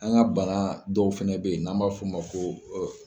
An ka banga dɔw fɛnɛ bɛ yen n'an b'a fɔ u ma ko.